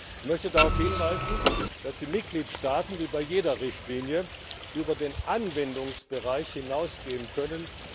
Ich möchte darauf hinweisen, dass die Mitgliedstaaten wie bei jeder Richtlinie durch nationales Recht über den Anwendungsbereich hinausgehen können.